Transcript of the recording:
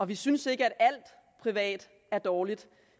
vi synes ikke at alt privat er dårligt